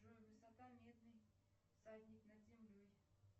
джой высота медный всадник над землей